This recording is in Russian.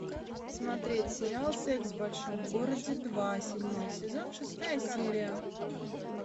смотреть сериал секс в большом городе два седьмой сезон шестая серия